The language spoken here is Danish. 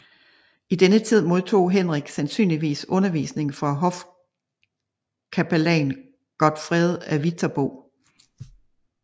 I denne tid modtog Henrik sandsynligvis undervisning fra hofkapellan Godfred af Viterbo